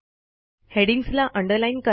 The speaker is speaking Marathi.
हेडिंग्जला अंडरलाईन करा